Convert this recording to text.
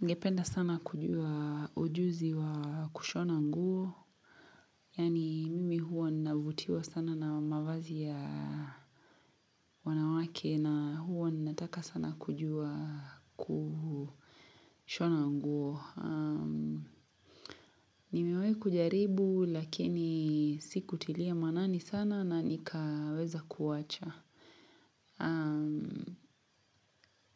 Ningependa sana kujua ujuzi wa kushona nguo, yaani mimi huwa ninavutiwa sana na mavazi ya wanawake na huwa ninataka sana kujua kushona nguo. Nimewahi kujaribu lakini sikutilia maanani sana na nikaweza kuwacha.